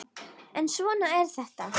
En svona er þetta!